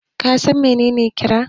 ka san menene kira?